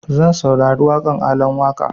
Zan saurari waƙan Alan Waƙa